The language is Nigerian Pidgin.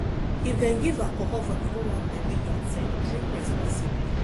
if dem give alcohol for di owambe wey you at ten d drink responsibly